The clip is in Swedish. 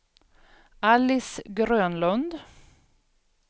Alice Grönlund